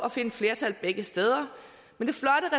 at finde flertal begge steder men